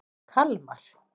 Kalmar